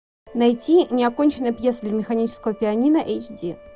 найти неоконченная пьеса для механического пианино эйч ди